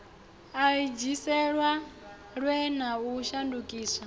i edziselwe na u shandukiswa